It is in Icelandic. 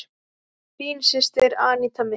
Þín systir, Aníta Mist.